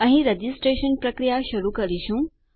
અહીં રજીસ્ટ્રેશન પ્રક્રીયા શરૂ કરીશું